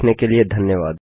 देखने के लिए धन्यवाद